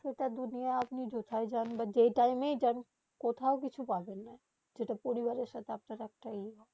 সেথা দুনিয়া আপনি যথায় যান যে যে টিমেয়ে যান কোথাও কিছু পাবেন না পরিবারে সাথে আপনার একটা এই